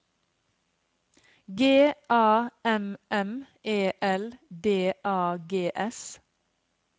G A M M E L D A G S